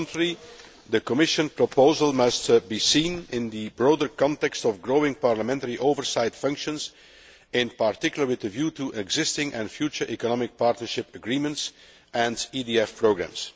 On the contrary, the Commission proposal must be seen in the broader context of growing parliamentary oversight functions, in particular, with a view to existing and future Economic Partnership Agreements and EDF programmes.